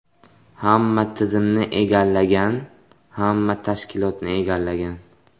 Hamma tizimni egallagan, hamma tashkilotni egallagan.